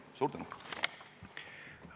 Suur tänu!